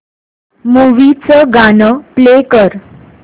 movie चं गाणं play कर